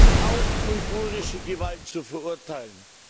Natürlich ist auch uigurische Gewalt zu verurteilen!